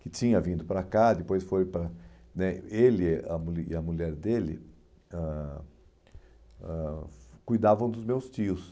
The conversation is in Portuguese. que tinha vindo para cá, depois foi para né... Ele a mu e a mulher dele ãh ãh cuidavam dos meus tios.